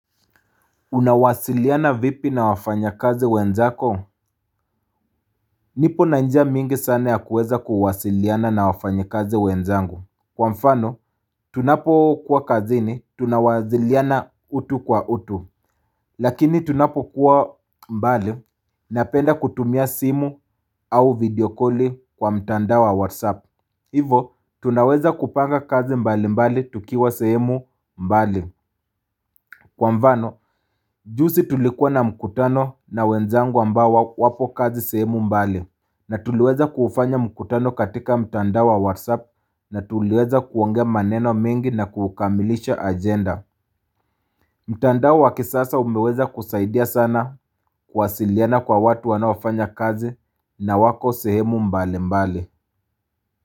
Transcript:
Unawasiliana vipi na wafanya kazi wenzako? Nipo na njia mingi sana ya kuweza kuwasiliana na wafanya kazi wenzangu. Kwa mfano, tunapo kuwa kazini, tunawasiliana utu kwa utu. Lakini tunapo kuwa mbali, napenda kutumia simu au videokoli kwa mtanda wa whatsapp. Hivo, tunaweza kupanga kazi mbali mbali tukiwa sehemu mbali. Kwa mfano, juzi tulikuwa na mkutano na wenzangu ambao wapo kazi sehemu mbali na tuliweza kufanya mkutano katika mtandao wa whatsapp na tuliweza kuongea maneno mingi na kukamilisha agenda mtandao wa kisasa umeweza kusaidia sana kwasiliana kwa watu wanoafanya kazi na wako sehemu mbali mbali.